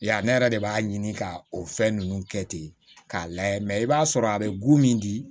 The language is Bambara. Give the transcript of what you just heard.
Ya ne yɛrɛ de b'a ɲini ka o fɛn ninnu kɛ ten k'a layɛ i b'a sɔrɔ a bɛ go min di